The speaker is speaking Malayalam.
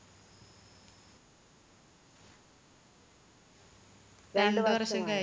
രണ്ട് വർഷം കഴി~